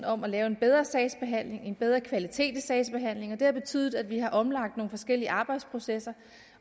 om at lave en bedre sagsbehandling få en bedre kvalitet i sagsbehandlingen det har betydet at vi har omlagt nogle forskellige arbejdsprocesser